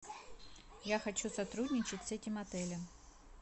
я хочу сотрудничать с этим отелем